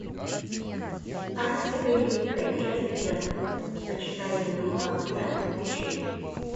арктика великая часть первая почитание духа огня включи